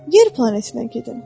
Yer planetinə gedin.